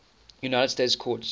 united states courts